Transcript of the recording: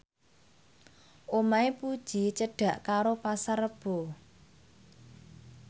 omahe Puji cedhak karo Pasar Rebo